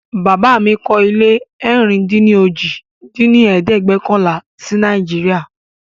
Bàbá mí kọ́ ilé ẹ̀rin-dín-ní-ojì dín ní ẹ̀ẹ́dẹ́gbẹ́ọ̀kànlá si Nàìjíríà